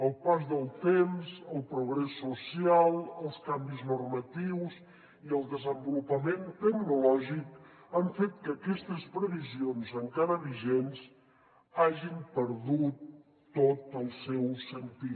el pas del temps el progrés social els canvis normatius i el desenvolupament tecnològic han fet que aquestes previsions encara vigents hagin perdut tot el seu sentit